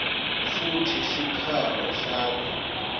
futsi sikhalo sakho